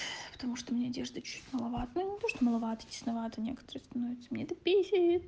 потому что у меня одежда чуть маловато ну не то что маловата тесновато некоторые становятся мне эта бесит